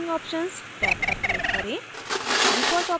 publishing options tab पर click करें